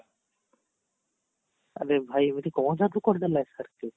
ଆରେ ଭାଇ କଣ ଜାଦୁ କରିଦେଲା SRK